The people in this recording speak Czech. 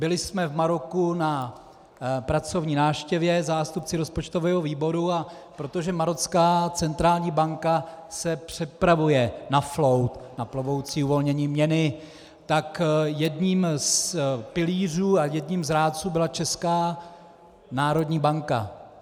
Byli jsme v Maroku na pracovní návštěvě, zástupci rozpočtového výboru, a protože marocká centrální banka se připravuje na flow, na plovoucí uvolnění měny, tak jedním z pilířů a jedním z rádců byla Česká národní banka.